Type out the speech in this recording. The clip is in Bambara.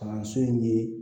Kalanso in yee